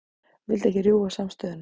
Vildi ekki rjúfa samstöðuna